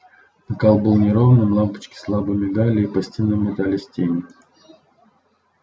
накал был неровным лампочки слабо мигали и по стенам метались тени